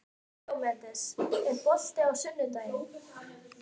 Díómedes, er bolti á sunnudaginn?